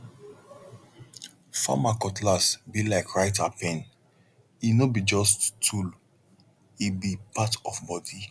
farmer cutlass be like writer pene no be just tool e be part of body